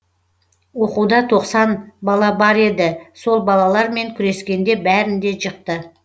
оқуда тоқсан бала бар еді сол балалар мен күрескенде бәрін де жықты